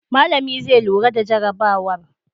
Malami zai lura da jarabawar.